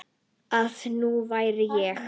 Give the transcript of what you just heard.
Að hún væri ég.